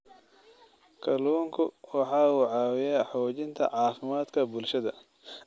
Kalluunku waxa uu caawiyaa xoojinta caafimaadka bulshada.